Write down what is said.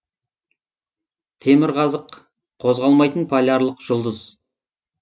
темірқазық қозғалмайтын полярлық жұлдыз